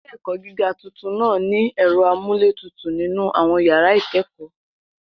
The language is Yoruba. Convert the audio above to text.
Ilé-ẹ̀kọ́ gíga tuntun náà ní ẹ̀rọ amúlétutù nínú àwọn yàrá ìkẹ́kọ̀ọ́.